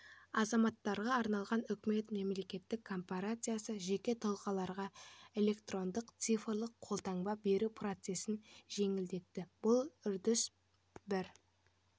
азаматтарға арналған үкімет мемлекеттік корпорациясы жеке тұлғаларға электрондық цифрлық қолтаңба беру процесін жеңілдетті бұл үрдіс бір